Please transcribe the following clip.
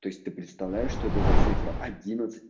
то есть ты представляешь что это за цифра одиннадцать